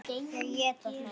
Þau éta þær.